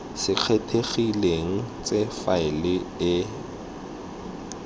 se kgethegileng tse faele e